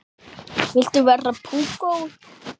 Viltu vera púkó?